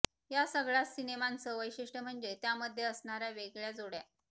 या सगळ्याच सिनेमांचं वैशिष्ट्य म्हणजे त्यामध्ये असणाऱ्या वेगळ्या जोड्या